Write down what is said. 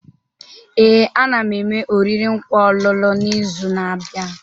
Ee, a na m eme oriri nkwa ọlụlụ n'izu na-abịa.